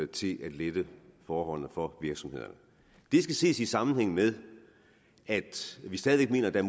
til at lette forholdene for virksomhederne det skal ses i sammenhæng med at vi stadig væk mener at der